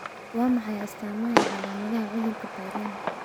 Waa maxay astaamaha iyo calaamadaha cudurka Peyronie?